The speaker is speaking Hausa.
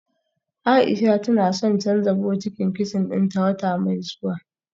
Aisha tana son canja bokitin kicin dinta wata mai zuwa